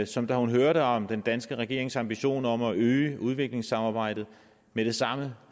som da hun hørte om den danske regerings ambitioner om at øge udviklingssamarbejdet med det samme